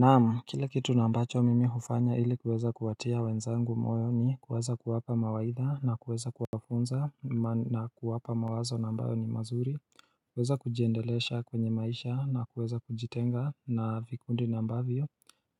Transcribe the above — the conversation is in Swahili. Naam, kile kitu na ambacho mimi hufanya ili kuweza kuwatia wenzangu moyo ni kuweza kuwapa mawaidha na kuweza kuwafunza na kuwapa mawazo na ambayo ni mazuri kuweza kujiendelesha kwenye maisha na kuweza kujitenga na vikundi na ambavyo